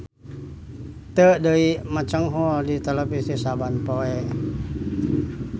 Teu deui mecenghul di televisi saban poe.